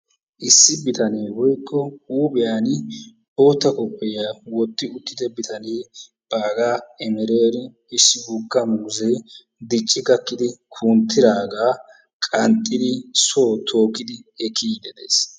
Issi bitane woykko huuphiyan bootta kophiya wotti uttidage baggaa emereni issi woggaa muuzee dicci gakkidi kunttidaga qaxxidi soo tokkidi ekiyidi de'ees.